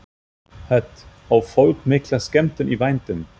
Hödd: Á fólk mikla skemmtun í vændum?